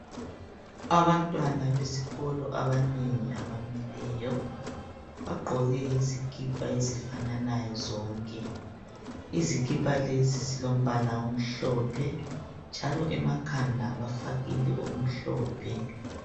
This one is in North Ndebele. Abantwana besikolo abanengi abamileyo bagqoke izikipa ezifananayo zonke. Izikipa lezi zilombala omhlophe njalo emakhanda bafakile okumhlophe.